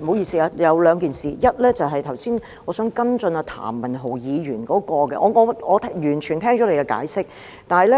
不好意思，有兩件事：第一，我想跟進譚文豪議員剛才的問題；我已經聽到主席的解釋，但